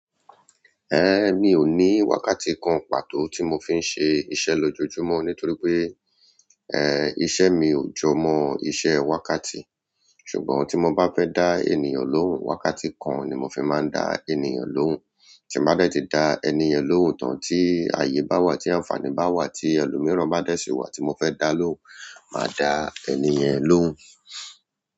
Ẹ̀, mi ò ní wákàtí kan pàtó tí mo fi ń ṣe iṣẹ́ lójoojúmọ́ nítorí pé, ẹ́, iṣẹ́ mi ò jọ mọ iṣẹ́ wákàtí. Ṣùgbọ́n tí mo bá fẹ́ dá ènìyàn lóhùn, wákàtí kan ni mo fi máa ń dá ènìyàn lóhùn. Tí n bá dé ti dá ẹni yẹn lóun tán ti ayé bá wà ti àǹfààní báwa ti ẹlòmíràn bá dé sí wa ti mofe dá lóhùn má dá ẹniyẹn lóun.